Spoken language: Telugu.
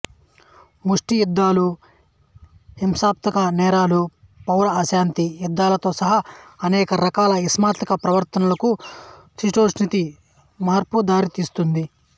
ముష్టి యుద్ధాలు హింసాత్మక నేరాలు పౌర అశాంతి యుద్ధాలతో సహా అనేక రకాల హింసాత్మక ప్రవర్తనలకు శీతోష్ణస్థితి మార్పు దారితీస్తుంది